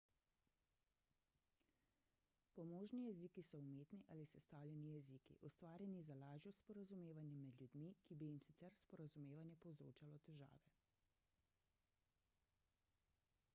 pomožni jeziki so umetni ali sestavljeni jeziki ustvarjeni za lažjo sporazumevanje med ljudmi ki bi jim sicer sporazumevanje povzročalo težave